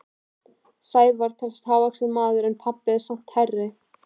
Sævar telst hávaxinn maður en pabbi er samt hærri.